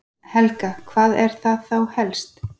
Helga: Hvað er það þá helst?